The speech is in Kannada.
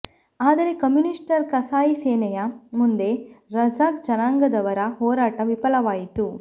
ಆದರೆ ಕಮ್ಯೂನಿಷ್ಟರ ಕಸಾಯಿ ಸೇನೆಯ ಮುಂದೆ ಕಝಕ್ ಜನಾಂಗದವರ ಹೋರಾಟ ವಿಫಲವಾಯಿತು